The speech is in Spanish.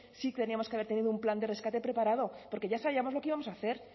sí teníamos que haber tenido un plan de rescate preparado porque ya sabíamos lo que íbamos a hacer